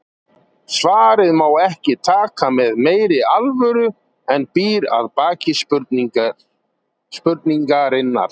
Svarið má ekki taka með meiri alvöru en býr að baki spurningarinnar.